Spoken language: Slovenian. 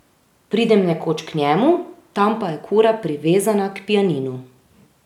Pridem nekoč k njemu, tam pa je kura privezana k pianinu.